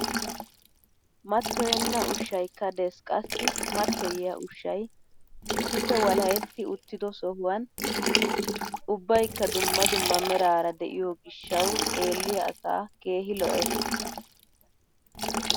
Mattoyenna ushayikka des qassi mattoyiyaa ushshay issippe walahetti uttido sohuwan ubbaykka dumma dumma meraara de'iyoo gishshawu xeelliyaa asaa keehi lo"ees!